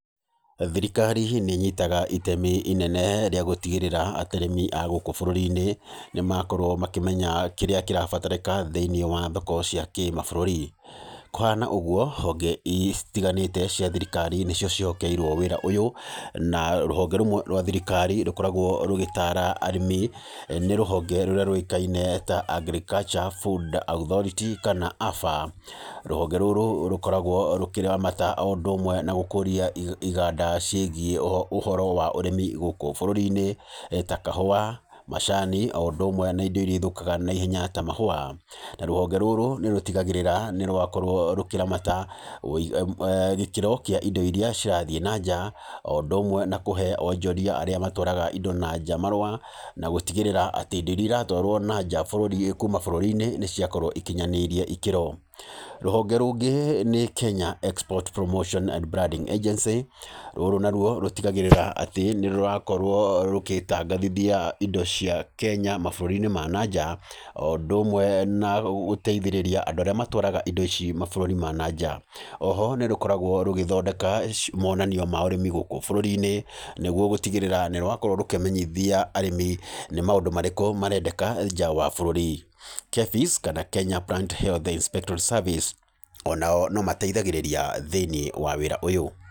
Thirikari nĩ ĩnyitaga itemi inene rĩa gũtigĩrĩra atĩ arĩmi a gũkũ bũrũri-inĩ nĩ makorwo makĩmenya kĩrĩa kĩrabatarĩka thĩ-inĩ wa thoko cia kĩmabũrũri, kũhana ũguo honge citiganĩte cia thirikari nĩcio ciĩhokeirwo wĩra ũyũ, na rũhonge rũmwe rwa thirikari rũkoragwo rũgĩtara arĩmi nĩ rũhonge rũrĩa rũĩkaine ta Agriculture food authority kana AFA, rũhonge rũrũ rũkoragwo rũkĩramata o ũndũ ũmwe na gũkũria iganda ciĩgiĩ ũhoro wa ũrĩmi gũkũ bũrũri-inĩ ta kahũa, macani o ũndũ ũmwe na indo iria ithũkaga na ihenya ta mahũa, rũhonge rũrũ nĩ rũtigagĩrĩra nĩ rwakorwo rũkĩramata gĩkĩro kĩa indo iria cirathiĩ na nja, o ũndũ ũmwe na kũhe onjoria arĩa matwaraga indo na nja marũa na gũtigĩrĩra atĩ indo iria iratwarwo na nja kuma bũrũri-inĩ nĩ ciakorwo ikinyanĩirie ikĩro. Rũhonge rũngĩ nĩ Kenya Export promotion and branding Agency, rũrũ naruo rũtigagĩrĩra atĩ nĩ rũrakorwo rũgĩtangathithia indo cia Kenya mabũrũri-inĩ ma na nja, o ũndũ ũmwe na gũteithĩrĩria andũ arĩa matwaraga indo ici mabũrũri ma na nja, o ho nĩ rũkoragwo rũgĩthondeka monanio ma ũrĩmi gũkũ bũrũri-inĩ, nĩguo gũtigĩrĩrĩra nĩ rwakorwo rũkĩmenyithia arĩmi maũndũ marĩkũ marendeka nja wa bũrũri, KEVIS kana Kenya blunt health inspectory services, o nao no mateithagĩrĩria thĩ-inĩ wa wĩra ũyũ.